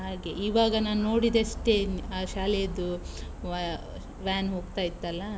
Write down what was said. ಹಾಗೆ, ಇವಾಗ ನಾನ್ ನೋಡಿದಷ್ಟೇ ಆ ಶಾಲೆದು ಆ va~ van ಹೋಗ್ತಾ ಇತ್ತಲ್ಲಾ.